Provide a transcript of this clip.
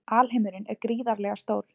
Alheimurinn er gríðarlega stór.